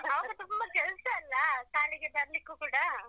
ಆವಾಗ ತುಂಬ ಕೆಲಸ ಅಲ್ಲ ಶಾಲೆಗೆ ಬರ್ಲಿಕ್ಕೂ ಕೂಡಾ.